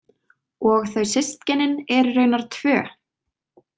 Og þau systkinin eru raunar tvö.